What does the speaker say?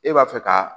E b'a fɛ ka